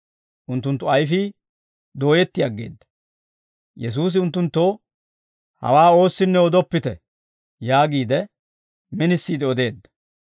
Unttunttu ayfii dooyetti aggeedda; Yesuusi unttunttoo, «Hawaa oossinne odoppite» yaagiide minisiide odeedda.